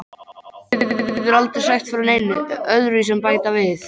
Þú getur aldrei sagt frá neinu öðruvísi en bæta við.